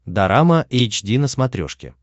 дорама эйч ди на смотрешке